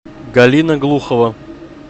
галина глухова